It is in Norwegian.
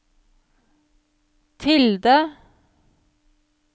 tilde